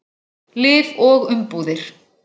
Lyf og umbúðir.